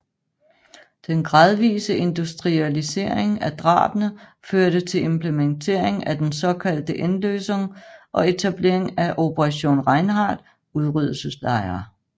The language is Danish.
Den gradvise industrialisering af drabene førte til implementering af den såkaldte Endlösung og etablering af Operation Reinhard udryddelseslejre